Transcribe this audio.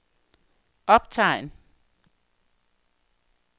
optegn